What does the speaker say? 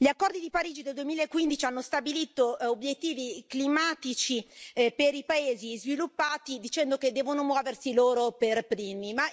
Gli accordi di Parigi del 2015 hanno stabilito obiettivi climatici per i paesi sviluppati dicendo che devono muoversi loro per primi.